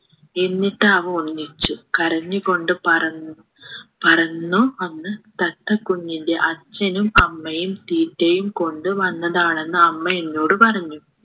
എന്നിട്ടവ ഒന്നിച്ചു കരഞ്ഞു കൊണ്ട് പറന്ന് പറന്നു വന്ന് തത്തക്കുഞ്ഞിൻ്റെ അച്ഛനും അമ്മയും തീറ്റയും കൊണ്ട് വന്നതാണെന്ന് അമ്മ എന്നോട് പറഞ്ഞു